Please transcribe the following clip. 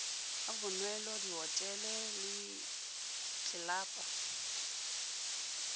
a bonwelo dihotele le ditlelapo